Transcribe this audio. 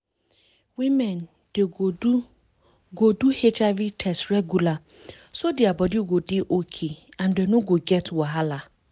women dey go do go do hiv test regular so their body go dey okay and dem no go get wahala